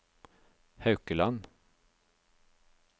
Haukeland